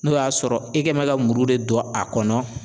N'o y'a sɔrɔ e kɛ mɛ ka muru de don a kɔnɔ.